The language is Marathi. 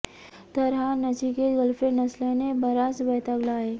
तर हा नचिकेत गर्लफ्रेंड नसल्याने बराच वैतागला आहे